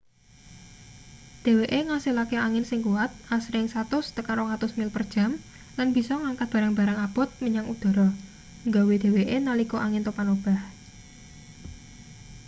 dheweke ngasilake angin sing kuwat asring 100-200 mil/jam lan bisa ngangkat barang-barang abot menyang udhara nggawa dheweke nalika angin topan obah